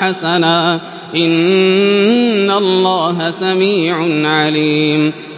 حَسَنًا ۚ إِنَّ اللَّهَ سَمِيعٌ عَلِيمٌ